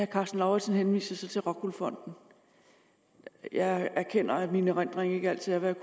karsten lauritzen henviser så til rockwool fonden jeg erkender at min erindring ikke altid er hvad